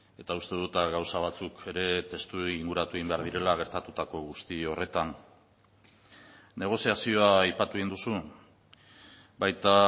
eta uste dut gauza batzuk ere testu inguratu egin behar direla gertatutako guzti horretan negoziazioa aipatu egin duzu baita